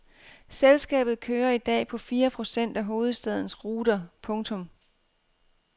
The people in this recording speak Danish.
Selskabet kører i dag på fire procent af hovedstadens ruter. punktum